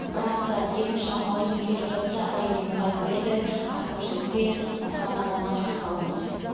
бірақ та екінші ауысым келіп жатса әрине мұғалімдер де әкімшілік те қуана қуана қарсы аламыз